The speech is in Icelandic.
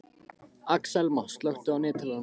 Axelma, slökktu á niðurteljaranum.